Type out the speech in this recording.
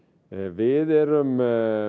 við erum